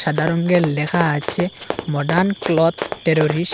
সাদা রঙ্গের লেখা আছে মডার্ন ক্লথ টেররিস